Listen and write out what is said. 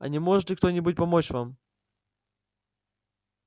а не может ли кто-нибудь помочь вам